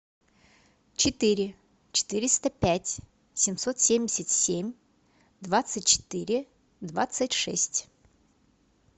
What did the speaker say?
четыре четыреста пять семьсот семьдесят семь двадцать четыре двадцать шесть